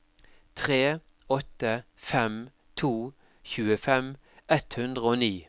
tre åtte fem to tjuefem ett hundre og ni